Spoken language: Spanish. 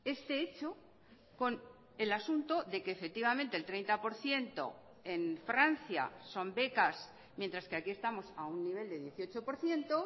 este hecho con el asunto de que efectivamente el treinta por ciento en francia son becas mientras que aquí estamos a un nivel de dieciocho por ciento